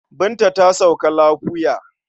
Binta ta sauka lafoya.